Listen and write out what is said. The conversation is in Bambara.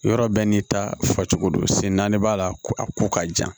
Yɔrɔ bɛɛ n'i ta fa cogo don sen naani b'a la ko a ko ka jan